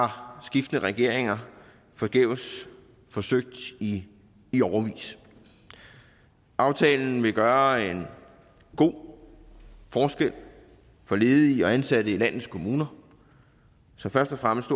har skiftende regeringer forgæves forsøgt i i årevis aftalen vil gøre en god forskel for ledige og ansatte i landets kommuner så først og fremmest